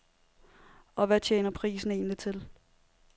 Og hvad tjener prisen egentlig til?